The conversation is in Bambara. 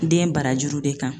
Den barajuru de kan.